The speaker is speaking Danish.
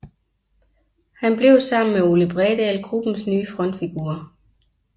Han blev sammen med Ole Bredahl gruppens nye frontfigurer